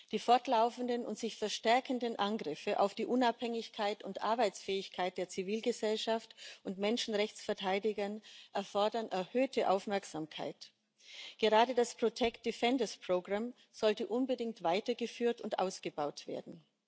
Die fortlaufenden und sich verstärkenden Angriffe auf die Unabhängigkeit und Arbeitsfähigkeit der Zivilgesellschaft und von Menschenrechtsverteidigern erfordern erhöhte Aufmerksamkeit. Gerade das sollte unbedingt weitergeführt und ausgebaut werden.